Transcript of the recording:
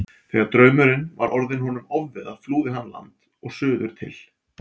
Þegar draumurinn var orðinn honum ofviða flúði hann land og suður til